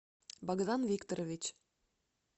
богдан викторович